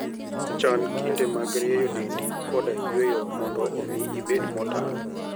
Chan kinde mag rieyo dendi koda yueyo mondo omi ibed motang'.